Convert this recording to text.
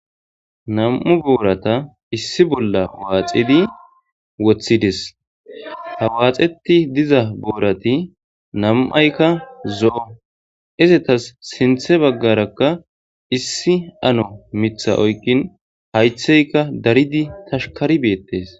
nam7u boorata issi bolla waaxidi woththides ha waaxeti diza boorati nam7aykka zo7o izetas sinthe baggarakka issi ano mitha oykkin haytheyka daridi tashkari beettes